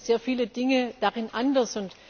Wir sehen sehr viele Dinge darin anders.